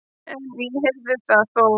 En ég heyrði það þó.